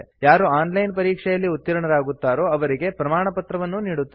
ಯಾರು online ಪರೀಕ್ಷೆಯಲ್ಲಿ ಉತ್ತೀರ್ಣರಾಗುತ್ತಾರೋ ಅವರಿಗೆ ಪ್ರಮಾಣಪತ್ರವನ್ನೂ ನೀಡುತ್ತದೆ